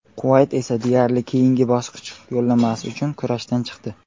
Quvayt esa deyarli keyingi bosqich yo‘llanmasi uchun kurashdan chiqdi.